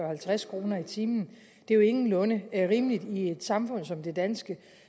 halvtreds kroner i timen det er jo ingenlunde rimeligt i et samfund som det danske